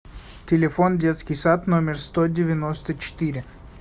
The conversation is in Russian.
телефон детский сад номер сто девяносто четыре